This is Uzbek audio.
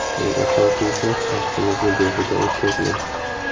Eng asosiysi, vaqtingizni behuda o‘tkazmang!